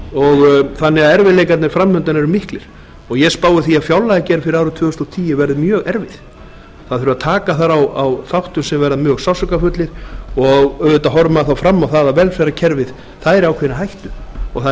þannig að erfiðleikarnir framundan eru miklir ég spái því að fjárlagagerð fyrir árið tvö þúsund og tíu verði mjög erfið það þurfi að taka þar á þáttum sem verða mjög sársaukafullir og auðvitað horfir maður þá fram á það að velferðarkerfið er í ákveðinni hættu og það